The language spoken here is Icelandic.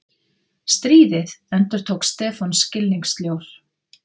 Stríðið? endurtók Stefán skilningssljór.